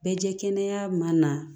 Bɛ jɛ kɛnɛya ma na